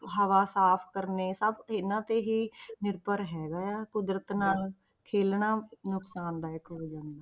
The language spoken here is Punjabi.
ਹਵਾ ਸਾਫ਼ ਕਰਨੇ ਸਭ ਇਹਨਾਂ ਤੇ ਹੀ ਨਿਰਭਰ ਹੈਗਾ ਹੈ ਕੁਦਰਤ ਨਾਲ ਖੇਲਣਾ ਨੁਕਸਾਨਦਾਇਕ ਹੋ ਜਾਂਦਾ।